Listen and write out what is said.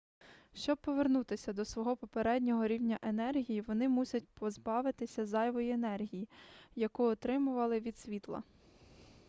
щоби повернутися до свого попереднього рівня енергії вони мусять позбавитися зайвої енергії яку отримали від світла